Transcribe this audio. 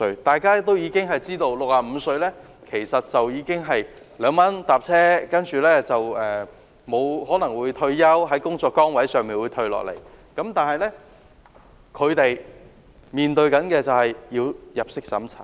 大家都知道 ，65 歲的長者可以2元乘車，他們可能已經退休，從工作崗位上退下來，但卻要面對入息審查。